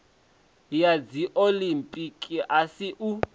ya dziolimpiki a si u